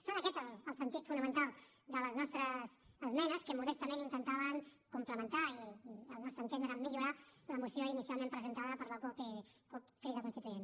és aquest el sentit fonamental de les nostres esmenes que modestament intentaven complementar i al nostre entendre millorar la moció inicialment presentada per la cup crida constituent